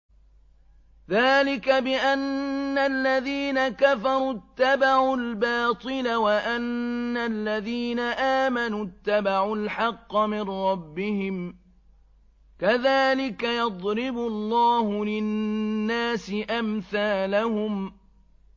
ذَٰلِكَ بِأَنَّ الَّذِينَ كَفَرُوا اتَّبَعُوا الْبَاطِلَ وَأَنَّ الَّذِينَ آمَنُوا اتَّبَعُوا الْحَقَّ مِن رَّبِّهِمْ ۚ كَذَٰلِكَ يَضْرِبُ اللَّهُ لِلنَّاسِ أَمْثَالَهُمْ